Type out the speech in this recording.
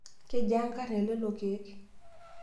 Kejiaa nkarn e lelo keek?